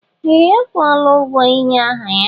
Ee! Ọ kwụọla ụgwọ ịnye aha ya.